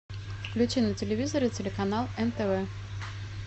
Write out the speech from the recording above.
включи на телевизоре телеканал нтв